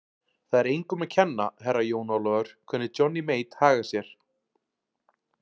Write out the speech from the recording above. Það er engum að kenna, Herra Jón Ólafur, hvernig Johnny Mate hagar sér.